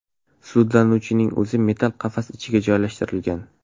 Sudlanuvchining o‘zi metall qafas ichiga joylashtirilgan.